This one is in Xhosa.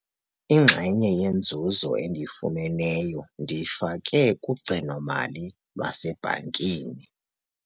Inxenye yenzuzo endiyifumeneyo ndiyifake kugcino-mali lwasebhankini.